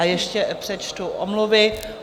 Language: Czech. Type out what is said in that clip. A ještě přečtu omluvy.